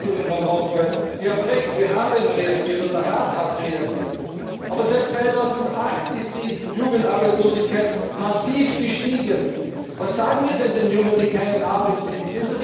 Präsident Van Rompuy, Sie haben recht, der Rat hat reagiert. Aber seit 2008 ist die Jugendarbeitslosigkeit massiv gestiegen. Was sagen wir denn den Jungen, die keine Arbeit